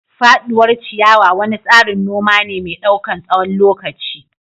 Faduwar ciyawa wani tsarin noma ne mai ɗaukan tsawon lokaci.